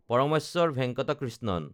Parameswaran Venkata Krishnan